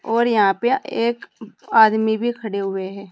और यहां पे एक आदमी भी खड़े हुए है।